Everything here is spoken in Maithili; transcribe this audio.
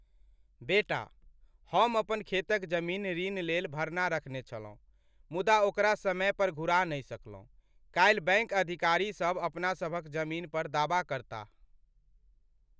बेटा, हम अपन खेतक जमीन ऋण लेल भरना रखने छलहुँ मुदा ओकरा समय पर घुरा नहि सकलहुँ। काल्हि बैङ्क अधिकारी सब अपना सभक जमीन पर दावा करताह।